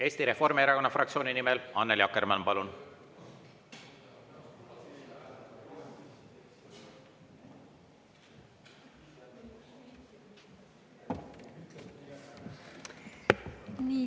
Eesti Reformierakonna fraktsiooni nimel Annely Akkermann, palun!